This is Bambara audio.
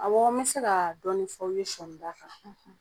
Awɔɔ me se kaa dɔɔni f'aw ye sɔɔnida kan .